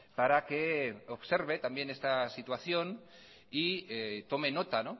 para que observe también esa situación tome nota